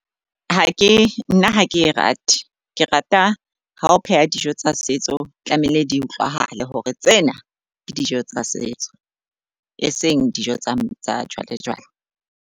Ha ke, nna ha ke e rate. Ke rata ho pheha dijo tsa setso tlamehile di utlwahale hore tsena ke dijo tsa setso, e seng dijo tsa jwale jwale.